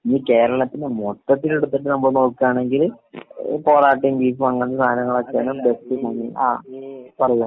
ഇനി കേരളത്തിനെ മൊത്തത്തിലെടുത്തിട്ട് നമ്മള് നോക്കാണെങ്കില് ഏഹ് പൊറാട്ടിം ബീഫും അങ്ങനത്തെ സാധനങ്ങളൊക്കെയാണ് ബെസ്റ്റ് ഫുഡ്. ആഹ് പറഞ്ഞോ